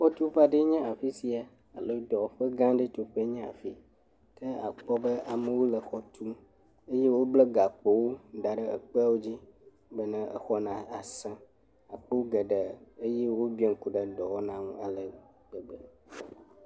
Xɔtuƒe aɖee nye afi sia, abe dɔwɔƒe gã aɖe tuƒe nye afi yi, ke akpɔ be amewo le xɔ tum eye wobla gakpowo da ɖe ekpe dzi bena exɔ nasẽ akpɔ geɖee eye wobiã ŋku ɖe dɔwɔna ŋu ale gbegbe.